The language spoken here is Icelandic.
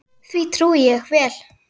Því trúi ég vel.